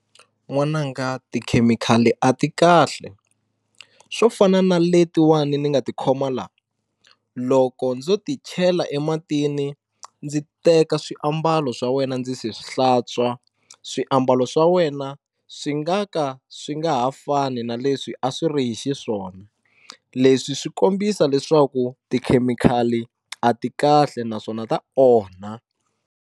N'wananga tikhemikhali a ti kahle swo fana na letiwani ni nga tikhoma la loko ndzo ti chela ematini ndzi teka swiambalo swa wena ndzi se hlantswa swiambalo swa wena swi nga ka swi nga ha fani na leswi a swi ri hi xiswona leswi swi kombisa leswaku tikhemikhali a ti kahle naswona ta onha.